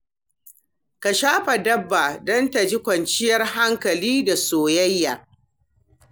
Ka shafa dabba don ta ji kwanciyar hankali da soyayya.